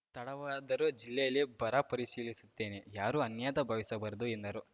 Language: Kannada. ತಡವಾದರೂ ಜಿಲ್ಲೆಯಲ್ಲಿ ಬರ ಪರಿಶೀಲಿಸುತ್ತೇನೆ ಯಾರೂ ಅನ್ಯತಾ ಭಾವಿಸಬಾರದು ಎಂದರು